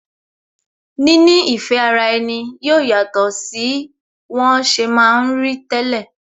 Níní ìfẹ́ ara ẹni yóò yàtọ̀ sí wọn ṣe ma ń rí tẹ́lẹ̀